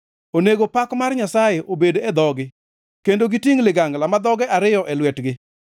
Onego pak mar Nyasaye obed e dhogi kendo gitingʼ ligangla ma dhoge ariyo e lwetgi,